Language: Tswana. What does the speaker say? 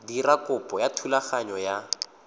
dira kopo ya thulaganyo ya